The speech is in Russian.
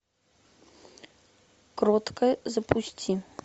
кроткая запусти